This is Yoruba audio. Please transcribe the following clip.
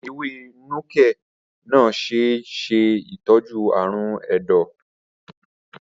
Ewé Nuke-Noh ṣe é ṣe ìtọ́jú ààrùn ẹ̀dọ̀.